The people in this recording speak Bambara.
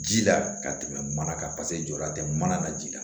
Ji la ka tɛmɛ mana kan paseke jɔda tɛ mana na ji la